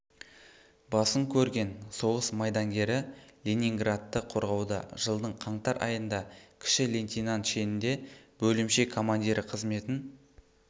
басын көрген соғыс майдангері ленинградты қорғауда жылдың қаңтар айында кіші лейтенант шенінде бөлімше командирі қызметін